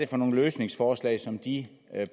for nogle løsningsforslag som de